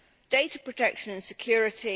data protection and security